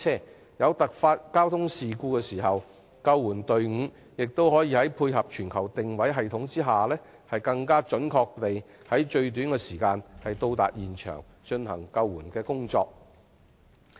當有突發交通事故發生時，救援隊伍也可配合全球定位系統，更準確地在最短時間內到達現場，展開救援工作。